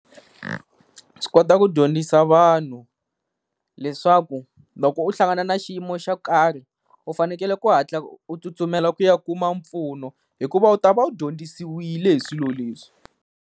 Swi kota ku dyondzisa vanhu, leswaku loko u hlangana na xiyimo xo karhi u fanekele ku hatla u tsutsumela ku ya kuma mpfuno hikuva u ta va u dyondzisile hi swilo leswi.